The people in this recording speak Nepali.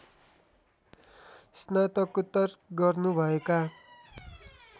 स्नातकोत्तर गर्नु भएका